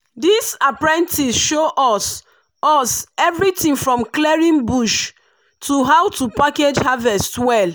this apprentice show us us everything from clearing bush to how to package harvest well.